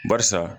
Barisa